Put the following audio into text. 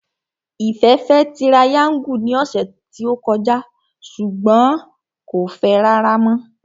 Ìfẹ́ fẹ́ tirayáńgù ní ọ̀sẹ̀ tí ó kọjá ṣùgbọ́n rárá mọ́